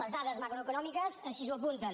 les dades macroeconòmiques així ho apunten